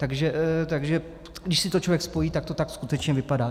Takže když si to člověk spojí, tak to tak skutečně vypadá.